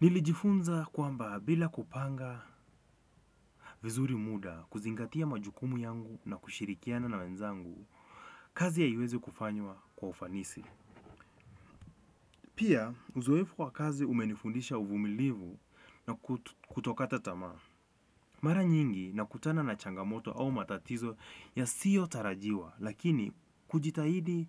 Nilijifunza kwamba bila kupanga vizuri muda kuzingatia majukumu yangu na kushirikiana na wenzangu, kazi haiwezi kufanywa kwa ufanisi. Pia, uzoefu wa kazi umenifundisha uvumilivu na kutokata tamaa. Mara nyingi nakutana na changamoto au matatizo yasiyo tarajiwa, lakini kujitahidi